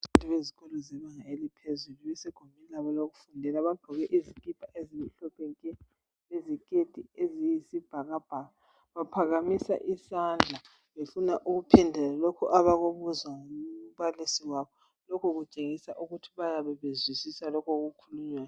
Bezikolo zebanga eliphezulu. Basegumbini labo lokufundela. Bagqoke uzikipa ezimhlophe nke! Leziketi eziyisibhakabhaka. Baphakamisa isandla, befuna ukuphendula lokho abakubuzwa ngumbalisi waboLokho kutshengisa ukuthi bayabe, bezwisisa lokho okukhulunywayo.